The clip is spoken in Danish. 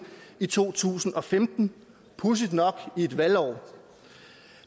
i to tusind og femten pudsigt nok i et valgår